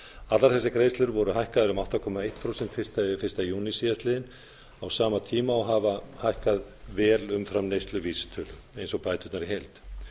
allar þessar greiðslur voru hækkaðar um átta komma eitt prósent fyrsta júní síðastliðinn á sama tíma og þær hafa hækkað vel umfram neysluvísitölu eins og bæturnar í heild